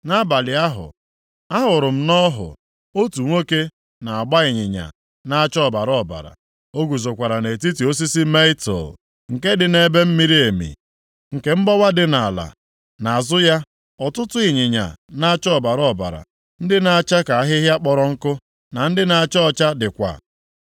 Nʼabalị ahụ, ahụrụ m nʼọhụ, otu nwoke na-agba ịnyịnya na-acha ọbara ọbara. O guzokwa nʼetiti osisi mietul, nke dị nʼebe miri emi nke mgbawa dị nʼala. Nʼazụ ya, ọtụtụ ịnyịnya na-acha ọbara ọbara, ndị na-acha ka ahịhịa kpọrọ nkụ, na ndị na-acha ọcha dịkwa.